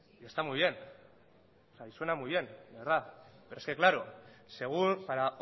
y está muy bien y suena muy bien de verdad pero es que claro según para